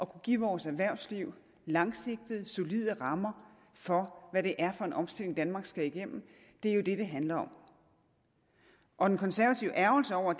kunne give vores erhvervsliv langsigtede solide rammer for hvad det er for en omstilling danmark skal igennem er jo det det handler om og den konservative ærgrelse over